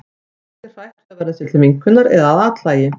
Fólk er hrætt við að verða sér til minnkunar eða að athlægi.